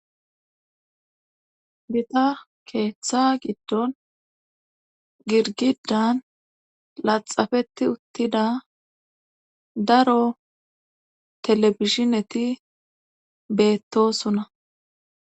Bita keeththa giddon girgidan laxafetti uttida daro telebishineti beettosuna.